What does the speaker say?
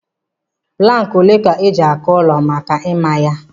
Plankị olee ka eji-akụ ụlọ maka ịmá ya?